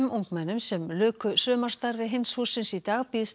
ungmennum sem luku sumarstarfi Hins hússins í dag býðst